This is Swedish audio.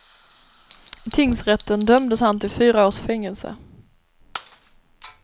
I tingsrätten dömdes han till fyra års fängelse.